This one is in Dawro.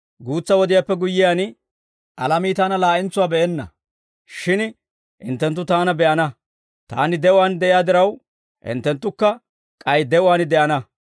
Guutsa wodiyaappe guyyiyaan, alamii Taana laa'entsuwaa be'enna; shin hinttenttu Taana be'ana; Taani de'uwaan de'iyaa diraw, hinttenttukka k'ay de'uwaan de'ana.